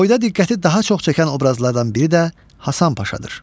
Boyda diqqəti daha çox çəkən obrazlardan biri də Həsən Paşadır.